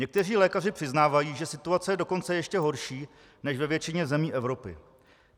Někteří lékaři přiznávají, že situace je dokonce ještě horší než ve většině zemí Evropy.